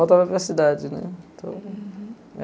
Voltava para a cidade, né, então.